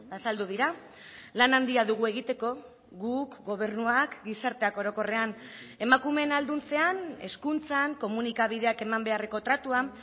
azaldu dira lan handia dugu egiteko guk gobernuak gizarteak orokorrean emakumeen ahalduntzean hezkuntzan komunikabideak eman beharreko tratuan